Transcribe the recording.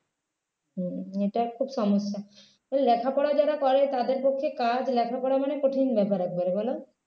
হম এটা খুব সমস্যা লেখাপড়া যারা করে তাদের পক্ষে কাজ লেখা পড়া মানে কঠিন ব্যাপার একবারে বলো